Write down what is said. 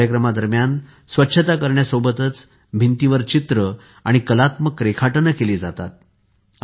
या कार्यक्रमा दरम्यान स्वच्छता करण्यासोबतच भिंतींवर चित्र आणि कलात्मक रेखाटने केली जातात